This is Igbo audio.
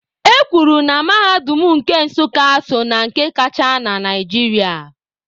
E kwuru na mahadum nke Nsukka so na nke kacha na Naịjirịa.